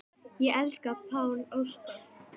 Ég elska Pál Óskar.